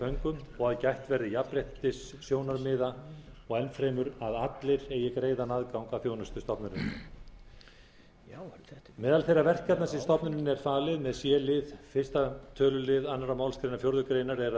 föngum og að gætt verði jafnréttissjónarmiða og enn fremur að allir eigi greiðan aðgang að þjónustu stofnunarinnar meðal þeirra verkefna sem stofnuninni er falið með c lið fyrsta tölulið annarri málsgrein fjórðu grein er að